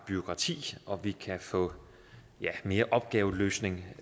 bureaukratiet og vi kan få mere opgaveløsning